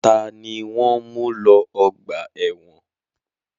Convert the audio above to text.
Ta ni wọ́n ń mú lọ ọgbà ẹ̀wọ̀n?